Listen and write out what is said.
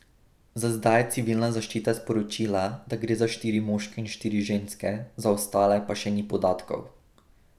Za zdaj je civilna zaščita sporočila, da gre za štiri moške in štiri ženske, za ostale pa še ni podatkov.